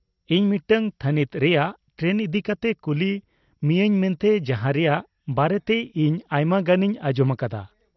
ᱤᱧ ᱢᱤᱫᱴᱟᱝ ᱛᱷᱟᱹᱱᱤᱛ ᱨᱮᱭᱟᱜ ᱴᱨᱮᱱ ᱤᱫᱤᱠᱟᱛᱮᱜ ᱠᱩᱞᱤ ᱢᱤᱭᱟᱹᱧ ᱢᱮᱱᱛᱮ ᱡᱟᱦᱟᱸ ᱨᱮᱭᱟᱜ ᱵᱟᱨᱮᱛᱮ ᱤᱧ ᱟᱭᱢᱟᱜᱟᱱᱤᱧ ᱟᱸᱡᱚᱢ ᱟᱠᱟᱫᱟ ᱾